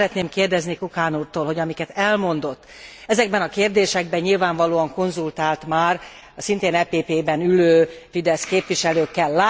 Én azt szeretném kérdezni Kukan úrtól, hogy amiket elmondott, ezekben a kérdésekben nyilvánvalóan konzultált már a szintén EPP ben ülő Fidesz képviselőkkel.